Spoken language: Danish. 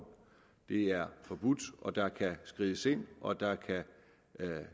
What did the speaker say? det er forbudt og der kan skrides ind og der kan